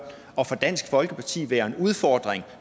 og for dansk folkeparti være en udfordring